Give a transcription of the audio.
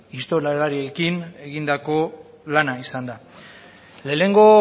historialariekin egindako lana izan da lehenengo